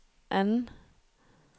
anden